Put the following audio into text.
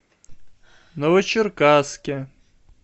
новочеркасске